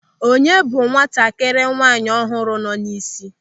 Onye bụ nwatakịrị nwaanyị ọhụrụ nọ n'isi?